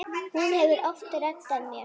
Hún hefur oft reddað mér.